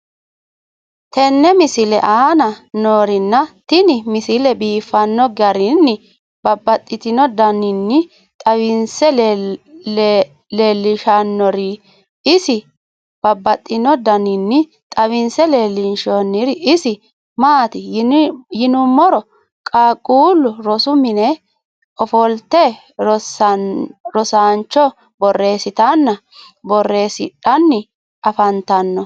tenne misile aana noorina tini misile biiffanno garinni babaxxinno daniinni xawisse leelishanori isi maati yinummoro qaaqqullu rosu minne offolitte rosiisancho borreessitanna borreesidhanni affanttanno